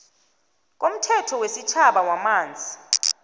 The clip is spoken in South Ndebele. komthetho wesitjhaba wamanzi